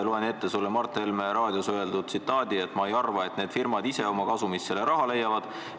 Loen sulle ette Mart Helme raadios öeldud sõnad: "Ma ei arva, et need firmad ise oma kasumist selle raha leiavad.